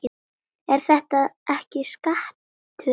Er þetta ekki skattur líka?